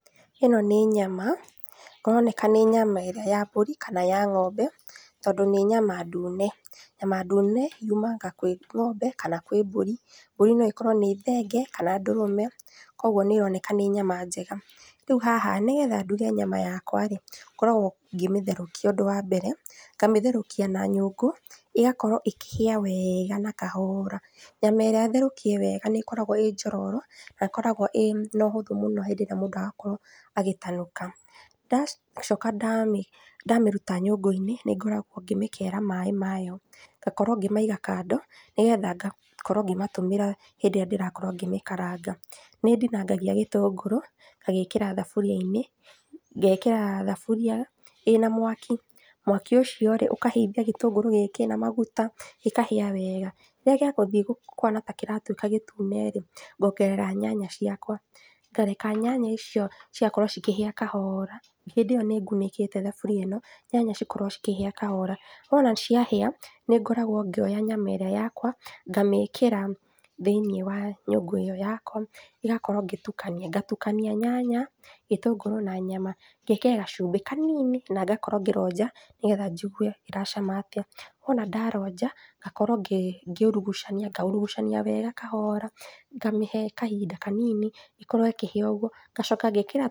Ĩno nĩ nyama, kũroneka nĩ nyama ĩrĩa ya mbũri kana ya ng’ombe, tondũ nĩ nyama ndune. Nyama ndune yumaga kwĩ ng'ombe kana kwĩ mbũri, mbũri noĩkorwo nĩ thenge kana ndũrũme kwoguo nĩĩroneka nĩ nyama njega. Rĩu haha nĩgetha nduge nyama yakwa rĩ, ngoragũo ngĩmĩtherũkia ũndũ wa mbere, ngamĩtherũkia na nyũngũ ĩgakorwo ĩkĩhĩa weega na kahoora. Nyama ĩrĩa therũkie wega nĩ ĩkoragwo ĩĩ njororo na ĩkoragwo ĩna ũhũthũ mũno hĩndĩĩrĩa mũndũ arakorwo agĩtanuka. Ndacoka ndamĩruta nyũngũ-inĩ nĩngoragwo ngĩmĩkera maaĩ mayo ngakorwo ngĩmaiga kando, nĩgetha ngakorwo ngĩmatũmĩra hĩndĩ ĩrĩa ndĩrakorwo ngĩmĩkaranga. Nĩndinangagia gĩtũngũrũ, ngagĩĩkĩra thaburia-inĩ, ngekĩra thaburia ĩna mwaki, mwaki ũcio rĩ ũkahĩithia gĩtũngũrũ gĩkĩ na maguta gĩkahĩa weega, rĩrĩa gĩgũthiĩ kũhana ta kĩratuĩka gĩtune rĩ, ngongerera nyanya ciakwa ngareka nyanya icio cigakorwo cikĩhĩa kahoora hĩndĩ ĩyo nĩngunĩkĩte thaburia ĩno nyanya cikorwo cikĩhĩa kahoora. Wona ciahĩa, nĩngoragwo ngĩoya nyama ĩrĩa yakwa ngamĩĩkĩra thĩiniĩ wa nyũngũ ĩyo yakwa ĩgakorwo ngĩtukania, ngatukania nyanya, gĩtũngũrũ na nyama ngekĩra gacumbĩ kanini na ngakorwo ngĩronja nĩgetha njigue iracama atĩa. Wona ndaronja ngakorwo ngiurugucania ngaurugucania wega kahoora ngamĩhe kahinda kanini ĩkorwo ĩkĩhĩa ũguo, ngacoka ngekĩra.